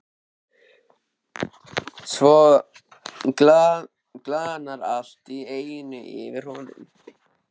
Svo glaðnar allt í einu yfir honum.